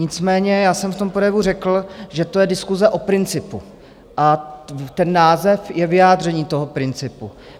Nicméně já jsem v tom projevu řekl, že to je diskuse o principu a ten název je vyjádřením toho principu.